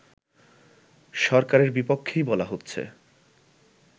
সরকারের বিপক্ষেই বলা হচ্ছে